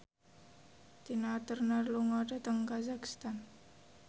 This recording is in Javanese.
Tina Turner lunga dhateng kazakhstan